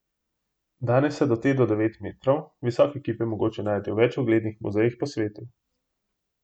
Danes je te do devet metrov visoke kipe mogoče najti v več uglednih muzejih po svetu.